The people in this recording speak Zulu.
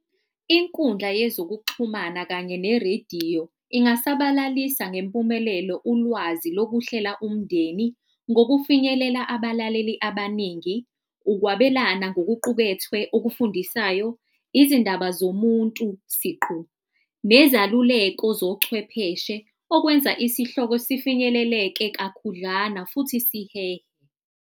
Inkundla yezokuxhumana kanye ne-radio ingasabalalisa ngempumelelo ulwazi lokuhlela umndeni ngokufinyelela abalaleli abaningi, ukwabelana ngokuqubethwe okufundisayo, izindaba zomuntu siqu nezaluleko zochwepheshe. Okwenza isihloko sifinyelele-ke kakhudlwana futhi sihehe.